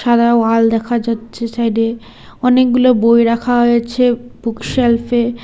সাদা ওয়াল দেখা যাচ্ছে সাইড -এ অনেকগুলো বই রাখা হয়েছে বুকশেলফ -এ।